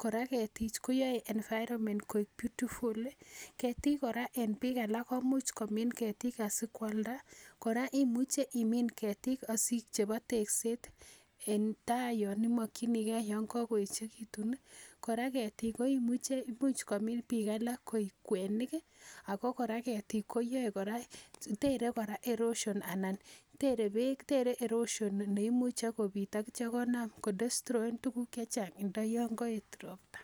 kora keetichu koyoe environment koik beautiful .Keetik kora en biik alak komuch komiin keetik asikoaldaa, kora imuche keetik asi chebo tekset en gaa yon imokchinigei yon kakoyechekitun i Kora keetik koimuche, imuch komin biik alak, koik kwenik ako kora ketik koyoe kora koter erosion anan tere neimuche kobiit akityoo komuch kodestroen tuguuk chechang ndo yon koet ropta.